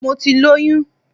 Mo ti lóyún.